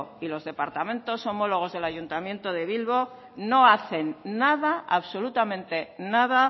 y los departamentos homólogos del ayuntamiento de bilbo no hacen nada absolutamente nada